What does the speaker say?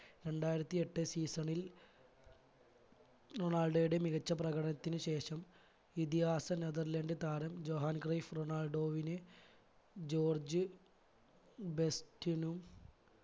രണ്ടായിരത്തി എട്ട് season ൽ റൊണാൾഡോയുടെ മികച്ച പ്രകടനത്തിന് ശേഷം ഇതിഹാസ നെതെർലാൻഡ് തരാം ജൊഹാൻ ക്രൈഫ് റൊണാൾഡോവിന് ജോർജ് ബെസ്റ്റിനും